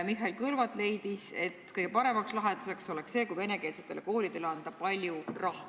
Mihhail Kõlvart leidis, et kõige paremaks lahenduseks oleks see, kui venekeelsetele koolidele anda palju raha.